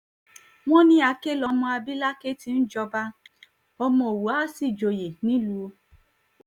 wọ́n ní àkè lọmọ àbí làkè tí í jọba ọmọ òwú àá sì joyè nilu